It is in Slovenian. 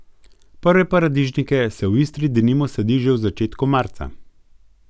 Prve paradižnike se v Istri denimo sadi že v začetku marca.